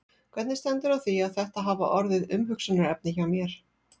Hvernig stendur á því að þetta hafa orðið umhugsunarefni hjá mér?